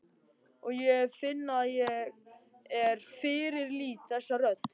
Og ég finn að ég fyrirlít þessa rödd.